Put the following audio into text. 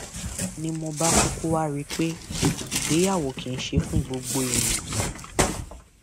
ni mo bá kúkú wáá rí i pé ìgbéyàwó kì í ṣe fún gbogbo èèyàn